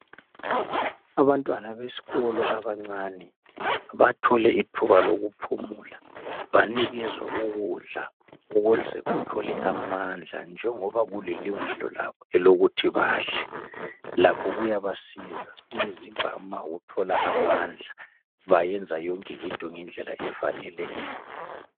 Abantwana besikolo abancane bathole ithuba lokuphumula banikezwa ukudla ukuze bathole amandla njengoba kulilungelo labo elokuthi badle lakho kuyabasiza umzimba uma uthola amandla bayenza yonke into ngendlela efaneleyo.